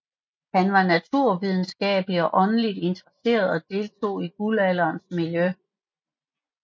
Han var naturvidenskabeligt og åndeligt interesseret og deltog i guldalderens miljø